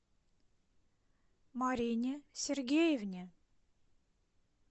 марине сергеевне